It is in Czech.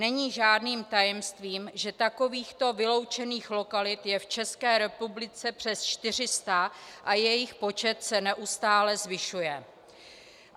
Není žádným tajemstvím, že takovýchto vyloučených lokalit je v České republice přes 400 a jejich počet se neustále zvyšuje.